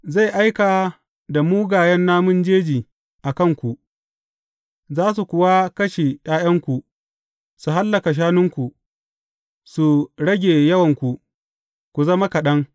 Zan aika da mugayen namun jeji a kanku, za su kuwa kashe ’ya’yanku, su hallaka shanunku, su rage yawanku, ku zama kaɗan.